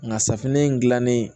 Nka safunɛ in dilannen